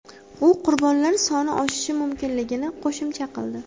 U qurbonlar soni oshishi mumkinligini qo‘shimcha qildi.